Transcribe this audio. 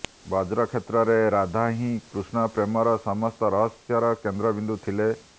ବ୍ରଜ କ୍ଷେତ୍ରରେ ରାଧା ହିଁ କୃଷ୍ଣ ପ୍ରେମର ସମସ୍ତ ରହସ୍ୟର କେନ୍ଦ୍ରବିନ୍ଦୁ ଥିଲେ